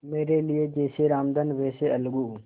मेरे लिए जैसे रामधन वैसे अलगू